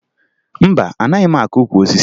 Mba, anaghị m akụ ukwu osisi